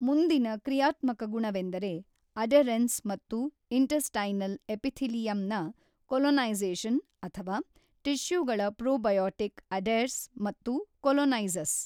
ಮುಂದಿನ ಕ್ರಿಯಾತ್ಮಕ ಗುಣವೆಂದರೆ ಅಡೇರೆನ್ಸ್ ಮತ್ತು ಇಂಟೆಸ್ಟೈನಲ್ ಎಪಿಥೆಲಿಯಮ್ ನ ಕೊಲೊನೈಝೇಶನ್ ಅಥವಾ ಟಿಶ್ಯೂಗಳ ಪ್ರೋಬಯಾಟಿಕ್ ಅಡೇರ್ಸ್ ಮತ್ತು ಕೊಲೊನೈಝಸ್.